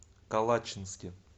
калачинске